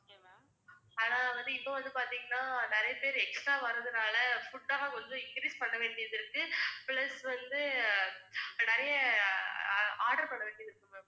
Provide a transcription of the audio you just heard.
ஆனா வந்து, இப்ப வந்து பாத்தீங்கன்னா நிறைய பேர் extra வர்றதுனால food எல்லாம் increase பண்ணவேண்டியதிருக்கு plus வந்து நிறைய order பண்ணவேண்டியதிருக்கு ma'am